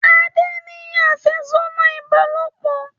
Ade ní afẹsodi ìbálòpọ̀